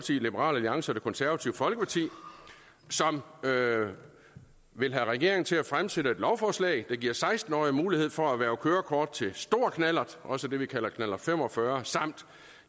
liberal alliance og det konservative folkeparti som vil have regeringen til at fremsætte et lovforslag der giver seksten årige mulighed for at erhverve kørekort til stor knallert også det vi kalder knallert fem og fyrre samt